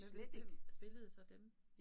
Hvem hvem spillede så dem